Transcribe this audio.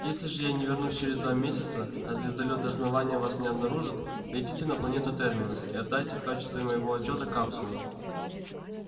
если же я не вернусь через два месяца а звездолёты основания вас не обнаружат летите на планету терминус и отдайте в качестве моего отчёта капсулу